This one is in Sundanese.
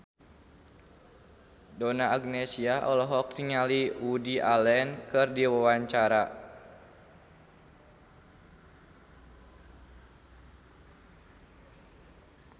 Donna Agnesia olohok ningali Woody Allen keur diwawancara